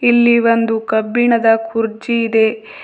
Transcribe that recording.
ಇಲ್ಲಿ ಒಂದು ಕಬ್ಬಿಣದ ಕುರ್ಚಿ ಇದೆ.